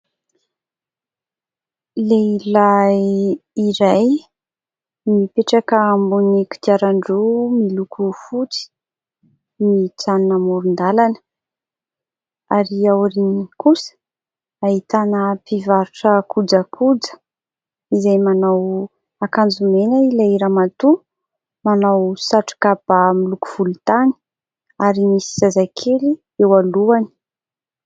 Lehilahy iray mipetraka ambonin'ny kodiarandroa miloko fotsy, mijanona amoron-dalana ary aoriany kosa ahitana mpivarotra kojakoja : izay manao akanjo mena ilay ramatoa, manao satroka bà miloko volontany ary misy zazakely eo alohany.